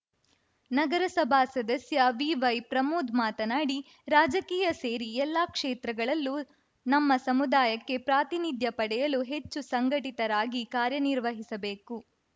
ನಗರಸಭಾ ಸದಸ್ಯ ವಿವೈಪ್ರಮೋದ್‌ ಮಾತನಾಡಿ ರಾಜಕೀಯ ಸೇರಿ ಎಲ್ಲ ಕ್ಷೇತ್ರಗಳಲ್ಲೂ ನಮ್ಮ ಸಮುದಾಯಕ್ಕೆ ಪ್ರಾತಿನಿಧ್ಯ ಪಡೆಯಲು ಹೆಚ್ಚು ಸಂಘಟಿತರಾಗಿ ಕಾರ್ಯನಿರ್ವಹಿಸಬೇಕು